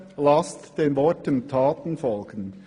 Lasst den Worten Taten folgen.